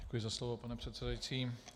Děkuji za slovo, pane předsedající.